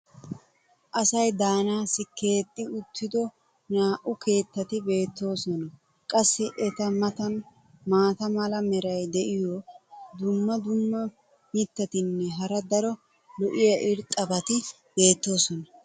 Asay daanaassi keeexxi uttido naa'u keettati beetoosona. qassi eta matan maata mala meray diyo dumma dumma mitatinne hara daro lo'iya irxxabati beetoosona.